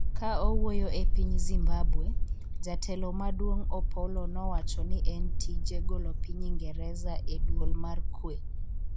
ka owuoyo e piny Zimbabwe, jatelo maduong' Opollo nowacho ni en tije golo piny Ingereza e duol mar kwe